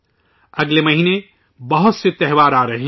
اگلے مہینے بہت سے تہوار آرہے ہیں